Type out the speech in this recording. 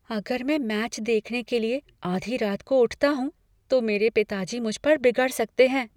अगर मैं मैच देखने के लिए आधी रात को उठता हूँ तो मेरे पिताजी मुझ पर बिगड़ सकते हैं।